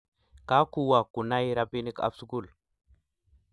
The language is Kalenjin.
Kakuwo kunai robinikab sukul